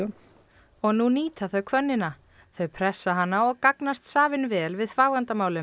og nú nýta þau hvönnina þau pressa hana og gagnast vel við